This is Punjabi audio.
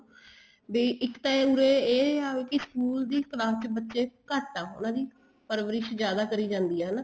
ਵੀ ਇੱਕ ਤਾਂ ਏ ਉਰੇ ਇਹ ਆ ਕੀ school ਦੀ class ਚ ਬੱਚੇ ਘੱਟ ਆ ਉਹਨਾ ਦੀ ਪਰਵਰਿਸ਼ ਜਿਆਦਾ ਕਰੀ ਜਾਂਦੀ ਆ ਹਨਾ